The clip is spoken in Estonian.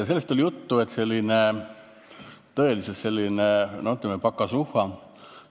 Oli juttu, et see on tõeliselt selline, ütleme, pakasuhha.